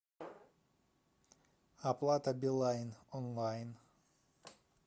оплата билайн онлайн